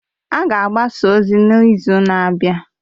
A ga-agbasa ozi a n'izu na-abịa.